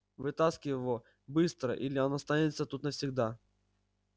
вытаскивай его быстро или он останется тут навсегда